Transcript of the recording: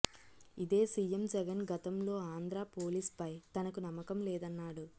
ఇదే సీఎం జగన్ గతంలో ఆంధ్రా పోలీస్ పై తనకు నమ్మకంలేదన్నాడు